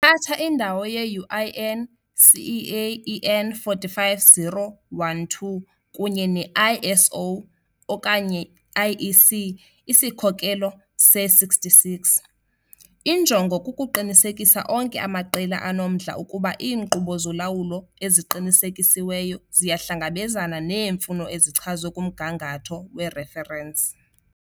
Ithatha indawo ye-UNI CEI EN 45012 kunye ne-ISO okanye IEC isikhokelo se-66. Injongo kukuqinisekisa onke amaqela anomdla ukuba iinkqubo zolawulo eziqinisekisiweyo ziyahlangabezana neemfuno ezichazwe kumgangatho wereferensi.